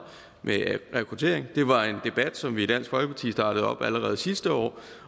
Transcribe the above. med rekruttering det var en debat som vi i dansk folkeparti startede op allerede sidste år